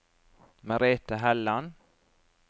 Merete Helland